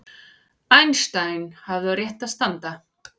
Einstein hafði á réttu að standa